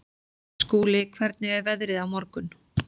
Skúli, hvernig er veðrið á morgun?